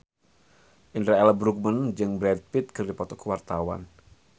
Indra L. Bruggman jeung Brad Pitt keur dipoto ku wartawan